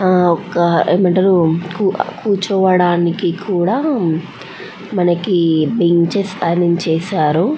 ఆహ్ ఆహ్ ఏం అంటారు కూచోవాడానికి కూడా బెంచెస్ ఆరెంజ్ చేశారు --